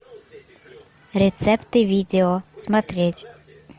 рецепты видео смотреть